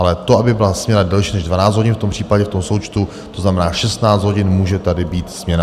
Ale to, aby byla směna delší než 12 hodin, v tom případě, v tom součtu, to znamená 16 hodin, může tady být směna.